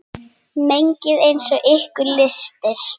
Mengið eins og ykkur lystir.